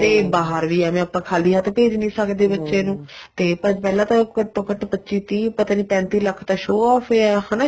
ਤੇ ਬਾਹਰ ਵੀ ਐਵੇ ਆਪਾਂ ਖ਼ਾਲੀ ਹੱਥ ਭੇਜ ਨਹੀਂ ਸਕਦੇ ਬੱਚੇ ਨੂੰ ਤੇ ਪਹਿਲਾਂ ਤਾਂ ਘੱਟੋ ਘੱਟ ਪੱਚੀ ਤੀਹ ਪਤਾ ਨਹੀਂ ਪੈਂਤੀ ਲੱਖ ਤਾਂ show off ਏ ਹਨਾ